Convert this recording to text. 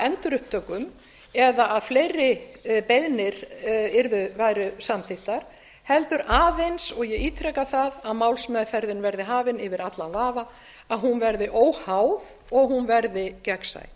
endurupptökum eða að fleiri beiðnir væru samþykktar heldur aðeins og ég ítreka það að málsmeðferðin verði hafin yfir allan vafa að hún verði óháð og gegnsæ